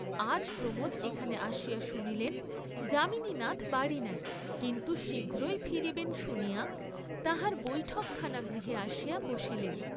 আজ প্রমােদ এখানে আসিয়া শুনিলেন, যামিনীনাথ বাড়ী নাই, কিন্তু শীঘ্রই ফিরিবেন শুনিয়া তাহার বৈঠকখানা গৃহে আসিয়া বসিলেন।